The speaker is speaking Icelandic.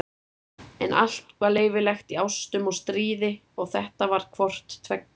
En allt var leyfilegt í ástum og stríði og þetta var hvort tveggja.